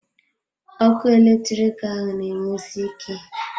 Ọkụ eletrik ahụ na enwusi ike.